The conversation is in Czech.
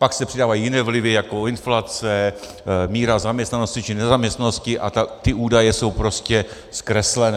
Pak se přidávají jiné vlivy jako inflace, míra zaměstnanosti či nezaměstnanosti a ty údaje jsou prostě zkreslené.